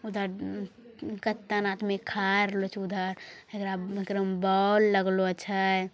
उधर कतय आदमी खरलों छे उधर एक एक्र्म बॉल लगलों छ|